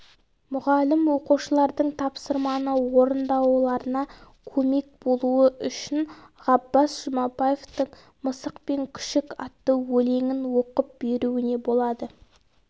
мұғалім оқушылардың тапсырманы орындауларына көмек болуы үшін ғаббас жұмабаевтың мысық пен күшік атты өлеңін оқып беруіне болады